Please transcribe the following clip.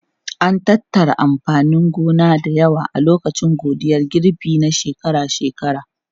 An tattara amfanin gona da yawa a lokacin godiyar girbi na shekara-shekara.